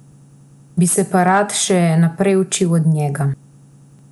Bi se pa rad še naprej učil od njega.